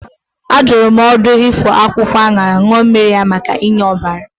A dụrụ m ọdụ ifọ akwụkwọ aṅara ṅụọ mmiri ya maka inye ọbara.